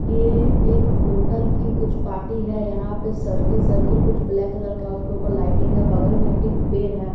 ये एक होटल की कुछ पार्टी है यहां पे सर्किल सर्किल कुछ ब्लैक कलर का उसके ऊपर लाइटिंग है बगल में एक पेड़ है।